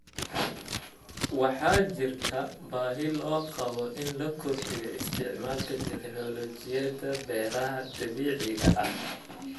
Waxaa jirta baahi loo qabo in la kordhiyo isticmaalka tignoolajiyada beeraha dabiiciga ah.